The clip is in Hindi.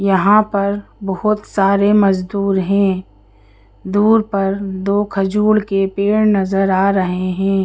यहां पर बहोत सारे मजदूर है दूर पर दो खजूल के पेड़ नजर आ रहे है।